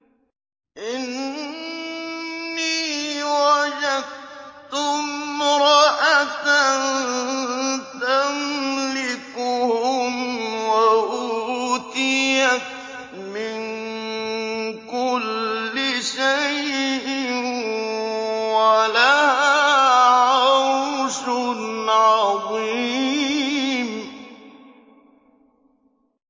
إِنِّي وَجَدتُّ امْرَأَةً تَمْلِكُهُمْ وَأُوتِيَتْ مِن كُلِّ شَيْءٍ وَلَهَا عَرْشٌ عَظِيمٌ